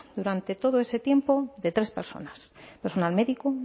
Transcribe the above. durante todo ese tiempo de tres personas personal médico